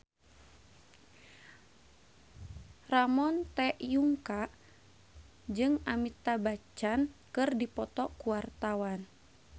Ramon T. Yungka jeung Amitabh Bachchan keur dipoto ku wartawan